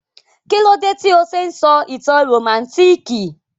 Kílódé tí o se n sọ ìtàn rómántikì?